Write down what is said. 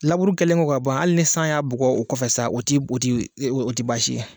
Laburi kɛlen kɔ ka ban ali ni sany'a bugɔ o kɔfɛ sa o ti o ti o t'i baasi